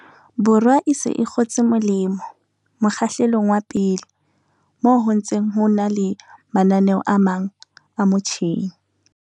Borwa e se e kgotse molemo mokgahlelong wa pele, moo ho ntseng ho na le mananeo a mang a mo tjheng.